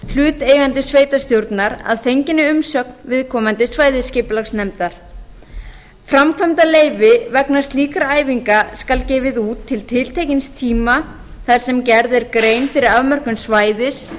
hlutaðeigandi sveitarstjórnar að fenginni umsögn viðkomandi svæðisskipulagsnefndar framkvæmdaleyfi vegna slíkra æfinga skal gefið út til tiltekins tíma þar sem gerð er grein fyrir afmörkun svæðis